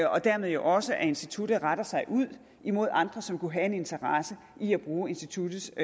og dermed jo også at instituttet retter sig ud imod andre som kunne have en interesse i at bruge instituttets